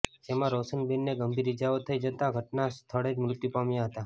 જેમાં રોશનબેનને ગંભીર ઈજાઓ થઈ જતા ઘટના સ્થળે જ મૃત્યું પામ્યા હતા